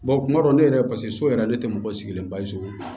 kuma dɔw ne yɛrɛ so yɛrɛ ne tɛ mɔgɔ sigilen